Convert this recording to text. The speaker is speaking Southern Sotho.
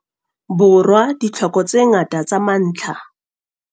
Borwa ditlhoko tse ngata tsa mantlha.